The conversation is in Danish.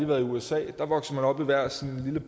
været i usa der vokser man op i hver sin lille